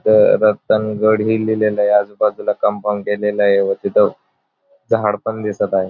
रतनगड ही लिहिलेलय आजूबाजूला कंपाउंड केलेलय व तिथ झाड पण दिसत आहे.